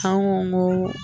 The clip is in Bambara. An ko ko